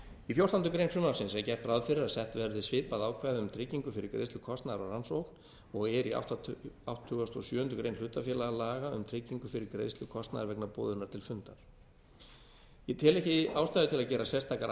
í fjórtándu greinar frumvarpsins er gert ráð fyrir að sett verði svipað ákvæði um tryggingu fyrir greiðslu kostnaðar á rannsókn og er í áttugasta og sjöundu greinar hlutafélagalaga um tryggingu fyrir greiðslu kostnaðar vegna boðunar til fundar ég tel ekki ástæðu til að gera sérstakar